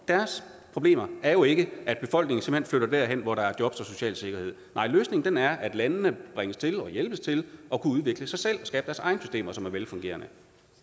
deres problemer er jo ikke at befolkningen simpelt hen flytter derhen hvor der er jobs og social sikkerhed nej løsningen er at landene bringes til og hjælpes til at udvikle sig selv og skabe deres egne systemer som er velfungerende